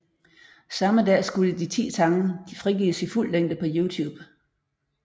Samme dag skulle de ti sange frigives i fuld længe på YouTube